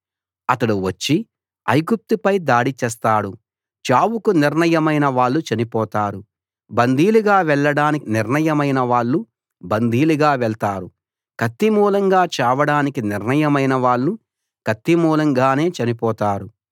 అతడు వచ్చి ఐగుప్తు పై దాడి చేస్తాడు చావుకు నిర్ణయమైన వాళ్ళు చనిపోతారు బందీలుగా వెళ్ళడానికి నిర్ణయమైన వాళ్ళు బందీలుగా వెళ్తారు కత్తి మూలంగా చావడానికి నిర్ణయమైన వాళ్ళు కత్తి మూలంగానే చనిపోతారు